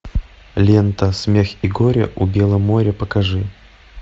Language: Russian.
лента смех и горе у бела моря покажи